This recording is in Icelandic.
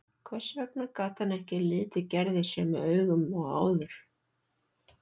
Hvers vegna gat hann ekki litið Gerði sömu augum og áður?